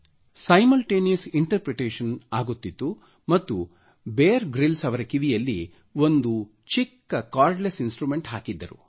simultaneous interpretation ಆಗುತ್ತಿತ್ತು ಮತ್ತು Bear Grylls ಅವರ ಕಿವಿಯಲ್ಲಿ ಒಂದು ಚಿಕ್ಕ ಕಾರ್ಡಲ್ಸ್ ಇನ್ಸ್ಟ್ರುಮೆಂಟ್ ಹಾಕಿದ್ದರು